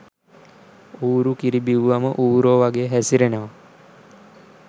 ඌරු කිරි බිව්වම ඌරො වගේ හැසිරෙනව